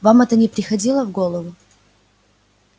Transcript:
вам это не приходило в голову